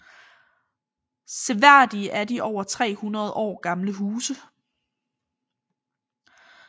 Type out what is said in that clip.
Seværdige er de over 300 år gamle huse